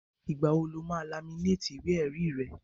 Ìgbà wo ni o máa laminéètì ìwé-ẹ̀rí rẹ̀?